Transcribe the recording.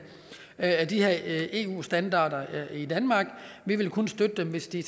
af de her eu standarder i danmark vi vil kun støtte dem hvis de